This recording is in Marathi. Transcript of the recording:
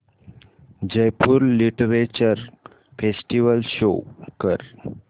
जयपुर लिटरेचर फेस्टिवल शो कर